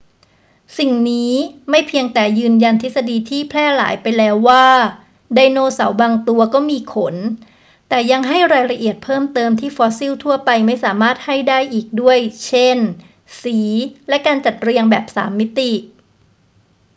สิ่งนี้ไม่เพียงแต่ยืนยันทฤษฎีที่แพร่หลายไปแล้วว่าไดโนเสาร์บางตัวก็มีขน แต่ยังให้รายละเอียดเพิ่มเติมที่ฟอสซิลทั่วไปไม่สามารถให้ได้อีกด้วย เช่น สีและการจัดเรียงแบบสามมิติ